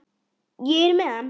Ég er með hann.